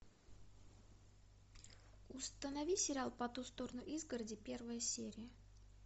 установи сериал по ту сторону изгороди первая серия